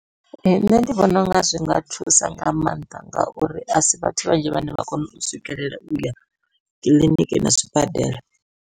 Ee nṋe ndi vhona unga zwi nga thusa nga maanḓa, ngauri a si vhathu vhanzhi vhane vha kona u swikelela uya kiḽiniki na zwibadela.